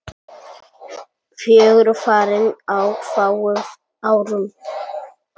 Fjögur farin á fáum árum.